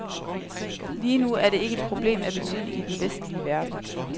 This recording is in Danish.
Lige nu er det ikke et problem af betydning i den vestlige verden.